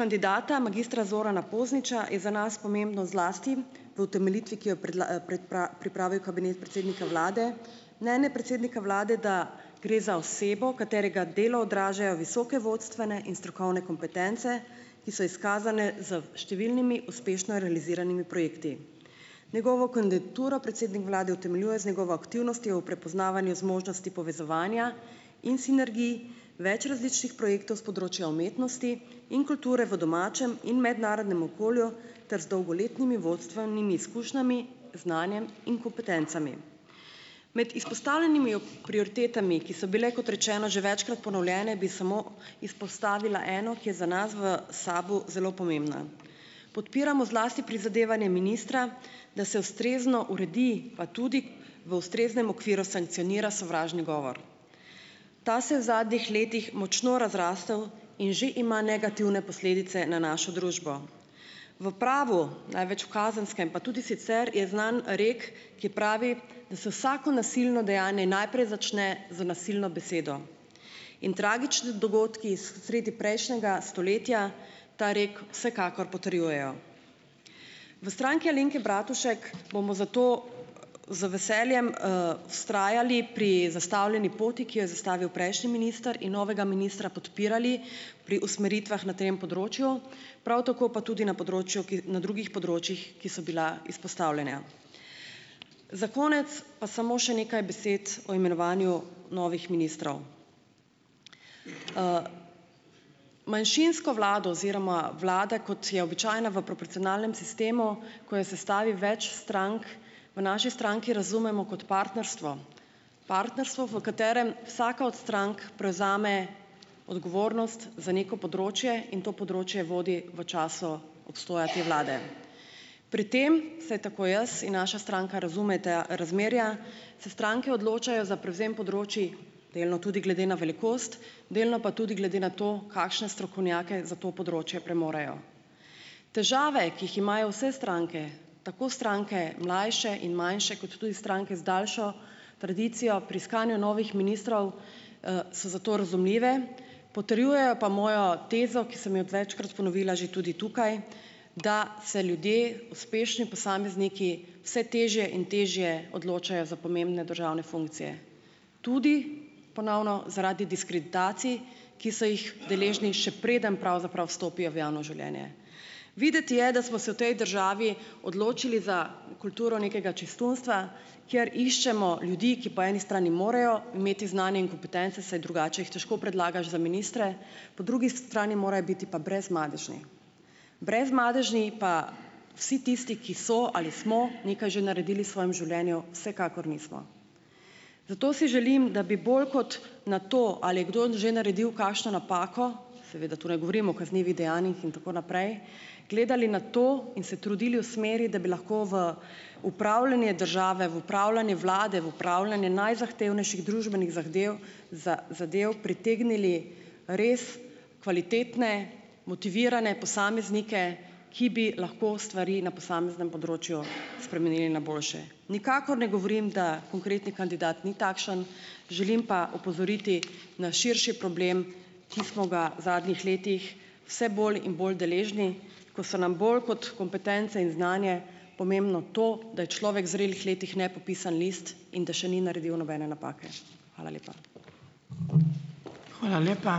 kandidata magistra Zorana Pozniča je za nas pomembno zlasti v utemeljitvi, ki jo je pripravil kabinet predsednika vlade, mnenje predsednika vlade, da gre za osebo, katerega delo odražajo visoke vodstvene in strokovne kompetence, ki so izkazane z številnimi uspešno realiziranimi projekti. Njegovo kandidaturo predsednik vlade utemeljuje z njegovo aktivnostjo v prepoznavanju zmožnosti povezovanja in sinergij več različnih projektov s področja umetnosti in kulture v domačem in mednarodnem okolju ter z dolgoletnimi vodstvenimi izkušnjami, znanjem in kompetencami. Med izpostavljenimi prioritetami, ki so bile, kot rečeno, že večkrat ponovljene, bi samo izpostavila eno, ki je za nas v SAB-u zelo pomembna. Podpiramo zlasti prizadevanje ministra, da se ustrezno uredi, pa tudi v ustreznem okviru sankcionira sovražni govor. Ta se je v zadnjih letih močno razrasel in že ima negativne posledice na našo družbo. V pravu, največ v kazenskem, pa tudi sicer je znan rek, ki pravi, da se vsako nasilno dejanje najprej začne z nasilno besedo. In tragični dogodki sredi prejšnjega stoletja ta rek vsekakor potrjujejo. V Stranki Alenke Bratušek bomo zato z veseljem, vztrajali pri zastavljeni poti, ki jo je zastavil prejšnji minister, in novega ministra podpirali pri usmeritvah na tem področju, prav tako pa tudi na področju, na drugih področjih, ki so bila izpostavljena. Za konec pa samo še nekaj besed o imenovanju novih ministrov. Manjšinsko vlado oziroma vlada, kot je običajna v proporcionalnem sistemu, ko jo sestavi več strank, v naši stranki razumemo kot partnerstvo, partnerstvo, v katerem vsaka od strank prevzame odgovornost za neko področje in to področje vodi v času obstoja te vlade. Pri tem, vsaj tako jaz in naša stranka razumeta razmerja, se stranke odločajo za prevzem področij delno tudi glede na velikost, delno pa tudi glede na to, kakšne strokovnjake za to področje premorejo. Težave, ki jih imajo vse stranke, tako stranke mlajše in manjše kot tudi stranke z daljšo tradicijo, pri iskanju novih ministrov, so zato razumljive, potrjujejo pa mojo tezo, ki sem jo večkrat ponovila že tudi tukaj, da se ljudje, uspešni posamezniki vse težje in težje odločajo za pomembne državne funkcije, tudi, ponovno, zaradi diskreditacij, ki so jih deležni, še preden pravzaprav vstopijo v javno življenje. Videti je, da smo se v tej državi odločili za kulturo nekega čistunstva, kjer iščemo ljudi, ki po eni strani morajo imeti znanje in kompetence, saj drugače jih težko predlagaš za ministre, po drugi strani morajo biti pa brezmadežni. Brezmadežni pa vsi tisti, ki so ali smo nekaj že naredili v svojem življenju, vsekakor nismo. Zato si želim, da bi bolj kot na to, ali je kdo že naredil kakšno napako, seveda tu ne govorim o kaznivih dejanjih in tako naprej, gledali na to in se trudili v smeri, da bi lahko v upravljanje države, v upravljanje vlade, v upravljanje najzahtevnejših družbenih zadev zadev pritegnili res kvalitetne, motivirane posameznike, ki bi lahko stvari na posameznem področju spremenili na boljše. Nikakor ne govorim, da konkretni kandidat ni takšen, želim pa opozoriti na širši problem, ki smo ga zadnjih letih vse bolj in bolj deležni, ko so nam bolj kot kompetence in znanje pomembno to, da je človek zrelih letih nepopisan list in da še ni naredil nobene napake. Hvala lepa.